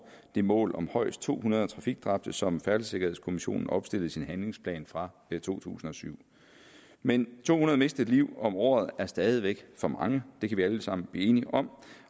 det mål om højst to hundrede trafikdræbte som færdselssikkerhedskommissionen opstillede i sin handlingsplan fra to tusind og syv men to hundrede mistede liv om året er stadig væk for mange det kan vi alle sammen blive enige om